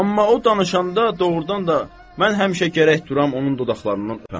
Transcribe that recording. Amma o danışanda doğurdan da mən həmişə gərək duram onun dodaqlarından öpəm.